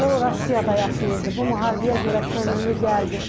O Rusiyada yaşayırdı, bu müharibəyə görə könüllü gəldi.